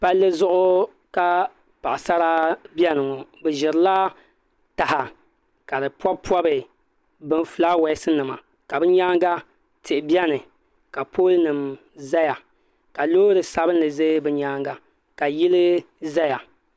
Palli zuɣu ka paɣasara biɛni ŋɔ bi ʒirila taha ka di pobi pobi fulaawɛs nima ka binyaanga tihi biɛni ka pool nim ʒɛya ka loori sabinli ʒɛ bi nyaanga ka yili ʒɛya